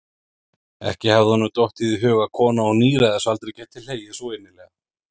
Ekki hafði honum dottið í hug að kona á níræðisaldri gæti hlegið svo innilega.